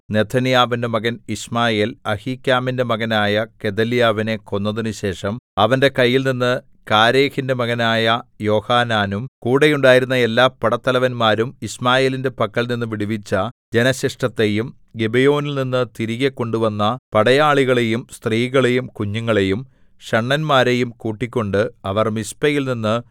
നെഥന്യാവിന്റെ മകൻ യിശ്മായേൽ അഹീക്കാമിന്റെ മകനായ ഗെദല്യാവിനെ കൊന്നതിനുശേഷം അവന്റെ കൈയിൽനിന്ന് കാരേഹിന്റെ മകനായ യോഹാനാനും കൂടെ ഉണ്ടായിരുന്ന എല്ലാ പടത്തലവന്മാരും യിശ്മായേലിന്റെ പക്കൽ നിന്നു വിടുവിച്ച ജനശിഷ്ടത്തെയും ഗിബെയോനിൽനിന്ന് തിരികെ കൊണ്ടുവന്ന പടയാളികളെയും സ്ത്രീകളെയും കുഞ്ഞുങ്ങളെയും ഷണ്ഡന്മാരെയും കൂട്ടികൊണ്ട് അവർ മിസ്പയിൽനിന്ന്